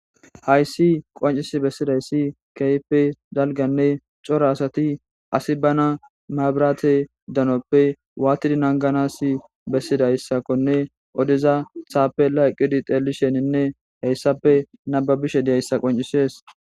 hayssi qoncisi bessidayssi keype dalganne cora asati asi bana maabiraate danoppe waatidi nanganas bessidayssakone odeza thaapela eqqidi xeelisheninne heyssape nababishe deyayssa qoncisees